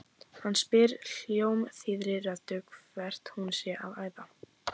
Hann spyr hljómþýðri röddu hvert hún sé að æða.